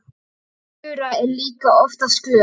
Þura er líka oftast glöð.